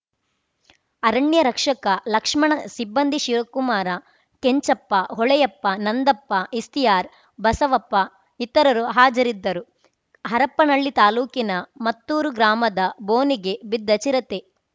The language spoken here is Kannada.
ಅರಣ್ಯ ರಕ್ಷಕ ಲಕ್ಷ್ಮಣ ಸಿಬ್ಬಂದಿ ಶಿವಕುಮಾರ ಕೆಂಚಪ್ಪ ಹೊಳೆಯಪ್ಪ ನಂದಪ್ಪ ಇಫ್ತಿಯಾರ್‌ ಬಸವಪ್ಪ ಇತರರು ಹಾಜರಿದ್ದರು ಹರಪ್ಪನಹಳ್ಳಿ ತಾಲೂಕಿನ ಮತ್ತೂರು ಗ್ರಾಮದ ಬೋನಿಗೆ ಬಿದ್ದ ಚಿರತೆ